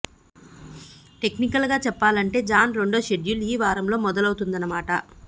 technical గా చెప్పాలంటే జాన్ రెండో షెడ్యూల్ ఈ వారంలో మొదలవుతోందన్నమాట